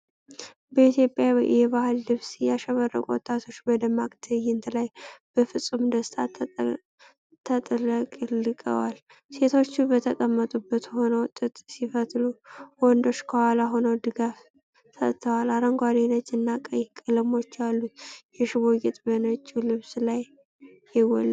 በኢትዮጵያዊ የባህል ልብስ ያሸበረቁ ወጣቶች በደማቅ ትዕይንት ላይ በፍጹም ደስታ ተጥለቅልቀዋል። ሴቶቹ በተቀመጡበት ሆነው ጥጥ ሲፈትሉ፣ ወንዶቹ ከኋላ ሆነው ድጋፍ ሰጥተዋል። አረንጓዴ፣ ነጭ እና ቀይ ቀለሞች ያሉት የሽቦ ጌጥ በነጭው ልብስ ላይ የጎላ ነው።